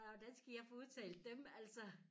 Hvordan skal jeg få udtalt dem altså